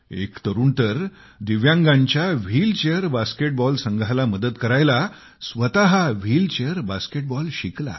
एक तरुणाने तर दिव्यांगांच्या व्हील चेअर बास्केटबॉल संघाला मदत करायला स्वतः व्हील चेअर बास्केटबॉल शिकला